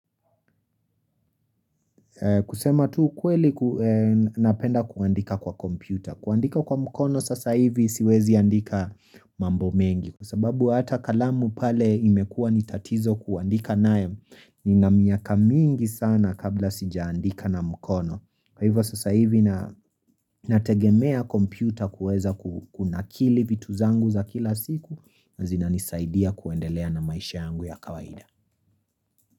Kusema tu ukweli napenda kuandika kwa kompyuta. Kuandika kwa mkono sasa hivi siwezi andika mambo mengi. Kwa sababu hata kalamu pale imekuwa nitatizo kuandika nayo nina miaka mingi sana kabla sijaandika na mkono. Kwa hivyo sasa hivi nategemea kompyuta kuweza kunakili vitu zangu za kila siku na zinanisaidia kuendelea na maisha yangu ya kawaida.